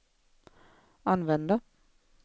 använda